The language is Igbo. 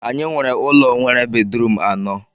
Anyị nwere ụlọ nwere bedrum anọ